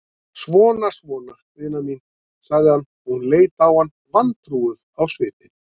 Svona, svona, vina mín, sagði hann, og hún leit á hann vantrúuð á svipinn.